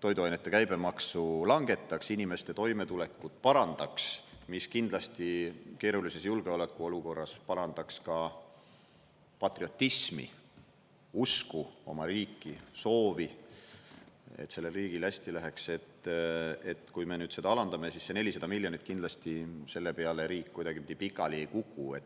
toiduainete käibemaksu langetaks, inimeste toimetulekut parandaks, mis kindlasti keerulises julgeoleku olukorras parandaks ka patriotismi, usku oma riiki, soovi, et sellel riigil hästi läheks, et kui me seda alandame, siis see 400 miljonit, kindlasti selle peale riik kuidagipidi pikali ei kuku.